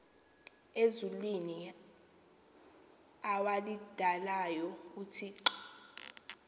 ezulwini awalidalayo uthixo